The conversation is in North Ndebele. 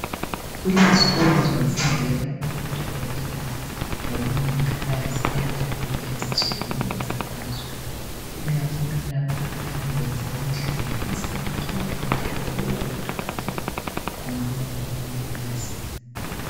Kulezikolo zokufundela ubudokotela lobumongikazi endaweni ezitshiyeneyo zamazwe ikakhulu lapho abayabe beyenze kuhle befisa ukuthi bafundele ukuba ngodokotela kumbe ukuba ngomongikazi.